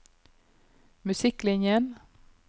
musikklinjen